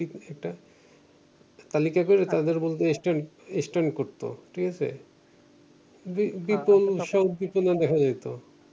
একটা` তালিকা কইরা তাদের বলতো স্ট্যা~ স্ট্যান্ড করতো ঠিকাছে বি~ বিপলু